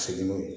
Segin